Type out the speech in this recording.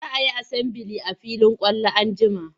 Za a yi asambili a filin kwallo an jima.